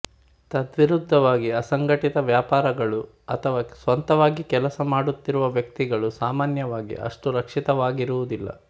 ತದ್ವಿರುದ್ಧವಾಗಿ ಅಸಂಘಟಿತ ವ್ಯಾಪಾರಗಳು ಅಥವಾ ಸ್ವಂತವಾಗಿ ಕೆಲಸ ಮಾಡುತ್ತಿರುವ ವ್ಯಕ್ತಿಗಳು ಸಾಮಾನ್ಯವಾಗಿ ಅಷ್ಟು ರಕ್ಷಿತವಾಗಿರುವುದಿಲ್ಲ